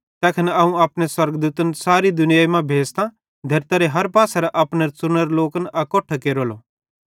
तैखन अवं अपने स्वर्गदूतन सारी दुनियाई मां भेज़तां धेरतारे हर पासेरां अपने च़ुनोरे लोकन अकोट्ठे केरलो